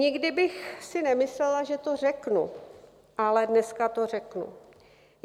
Nikdy bych si nemyslela, že to řeknu, ale dneska to řeknu.